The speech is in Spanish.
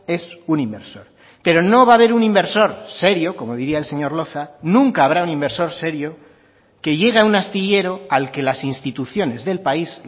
es un inversor pero no va a haber un inversor serio como diría el señor loza nunca habrá un inversor serio que llegue a un astillero al que las instituciones del país